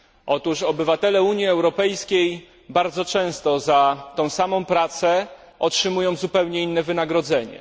Otóż obywatele Unii Europejskiej bardzo często za tą samą pracę otrzymują zupełnie inne wynagrodzenie.